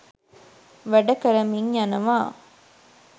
වැඩකරමින් යනවා